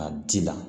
A ji la